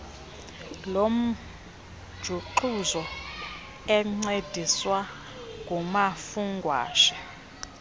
lomjuxuzo encediswa ngumafungwashe